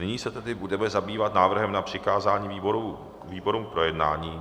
Nyní se tedy budeme zabývat návrhem na přikázání výborům k projednání.